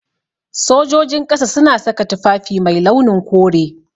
Sojojin ƙasa suna saka tufafi mai launin kore.